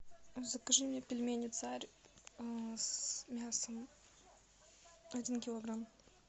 закажи мне пельмени царь с мясом один килограмм